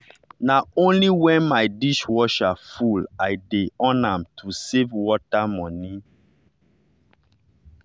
na only when my dishwasher full i dey on am to save water money.